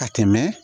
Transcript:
Ka tɛmɛ